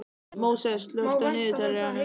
Móses, slökktu á niðurteljaranum.